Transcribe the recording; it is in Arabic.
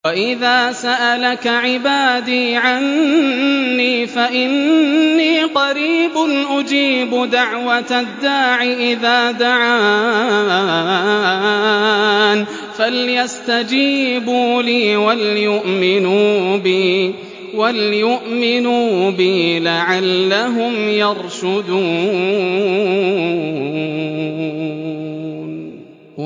وَإِذَا سَأَلَكَ عِبَادِي عَنِّي فَإِنِّي قَرِيبٌ ۖ أُجِيبُ دَعْوَةَ الدَّاعِ إِذَا دَعَانِ ۖ فَلْيَسْتَجِيبُوا لِي وَلْيُؤْمِنُوا بِي لَعَلَّهُمْ يَرْشُدُونَ